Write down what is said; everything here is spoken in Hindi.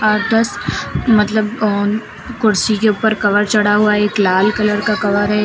मतलब ऑन कुर्सी के ऊपर कवर चढ़ा हुआ एक लाल कलर का कवर है।